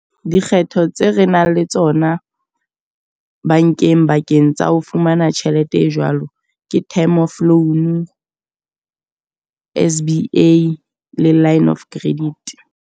Dikgetho tse re nang le tsona bankeng bakeng tsa ho fumana tjhelete e jwalo. Ke time off loan, S_B_A, le line of credit.